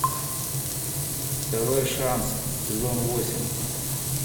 второй шанс сезон восемь